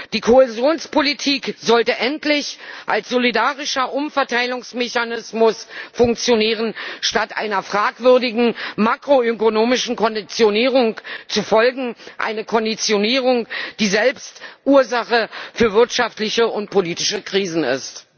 Die Kohäsionspolitik sollte endlich als solidarischer Umverteilungsmechanismus funktionieren, statt einer fragwürdigen makroökonomischen Konditionierung zu folgen einer Konditionierung, die selbst Ursache für wirtschaftliche und politische Krisen ist.